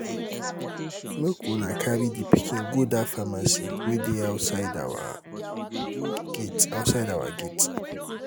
make una carry the pikin go dat pharmacy wey dey outside our gate outside our gate